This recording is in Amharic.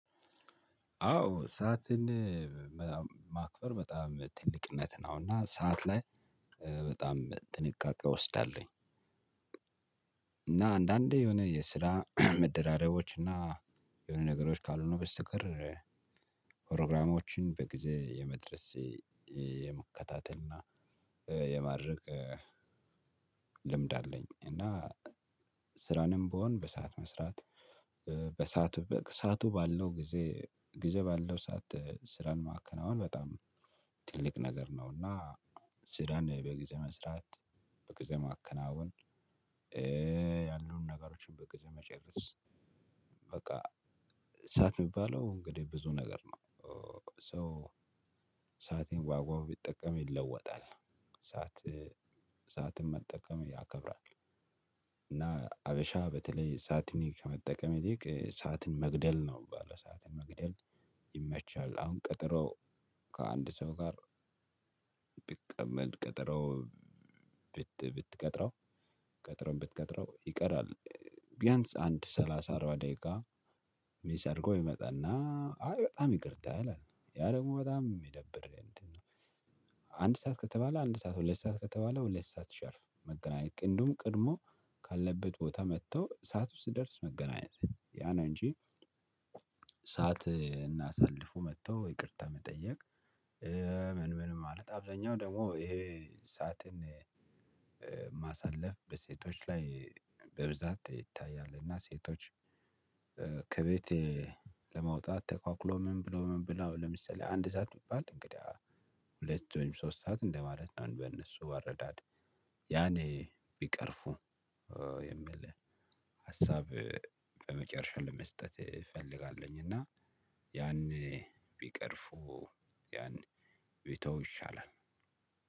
አዎ ሰዓትን ማክበር በጣም ትልቅነት ነው እና ሰዓት ላይ በጣም ጥንቃቄ እወስዳለሁኝ። እና አንዳንዴ የሆነ የስራ መደራረቦች እና የሆነ ነገሮች ካልሆኑ በስተቀር ፕሮግራሞችን በጊዜ የመድረሴ የመከታተል እና የማረቅ ልምድ አለኝ። እና ስራንም ብሆን በሰአት መስራት በሰአቱ በሰአቱ ባለው ጊዜ ጊዜ ባለው ሰዓት ስራን ማከናወን በጣም ትልቅ ነገር ነውና። ስራን በጊዜ መስራት በጊዜ ማከናወን ያሉን ነገሮችን በጊዜ መጨረስ። በቃ ሰዓት ሚባለው እንግዲህ ብዙ ነገር ነው። ሰአቴን ዋጋው ቢጠቀም ይለወጣል። ሰዓት ሰዓትን መጠቀም ያከብራል። እና ሀበሻ በተለይ ሰዓትን ከመጠቀም ይልቅ ሰዓትን መግደል ነው ባለው ሰዓትን መግደል ይመቻል። አሁን ቀጠሮ ከአንድ ሰው ጋር ብትቀመጥ ቀጠሮ ብት ብትቀጥረው ቀጥረው ብትቀጥረው ይቀራል ቢያንስ አንድ ሰላሳ አራባ ደቂቃ ሚስ አርጎ ይመጣና አይ በጣም ይቅርታ ይላል ያ ደግሞ በጣም የሚደብር እንዴ ነው። አንድ ሰዓት ከተባለ አንድ ሰዓት ሁለት ሰዓት ከተባለ ሁለት ሰዓት ሻርፕ መገናኘት እንደውም ቀድሞ ካለበት ቦታ መጥተው ሰዓት ሲደርስ መገናኘት ያ ነው እንጂ ሰዓትን አሳልፉ መጥተው ይቅርታ መጠየቅ ምን? ምን ማለት አብዛኛው ደግሞ ይሄ ሰዓትን ማሳለፍ በሴቶች ላይ በብዛት ይታያል። እና ሴቶች ከቤቴ ለመውጣት ተኳኩሎ ምን ብሎ ምን ብላ ለምሳሌ አንድ ሰዓት ቢባላል እንግዲህ ሁለት ወይም ሶስት ሰዓት እንደማለት ነው። በእነሱ አረዳድ ያን ቢቀርፉ ሀሳብ በመጨረሻ ለመስጠት እፈልጋለሁኝ። እና ያን ቢቀርፉ ያን ቢተው ይሻላል።